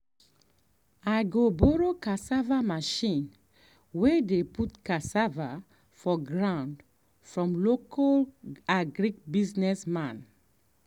i go borrow cassava machine way dey put cassava for ground from local agric business man.